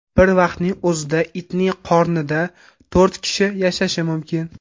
Bir vaqtning o‘zida itning qornida to‘rt kishi yashashi mumkin.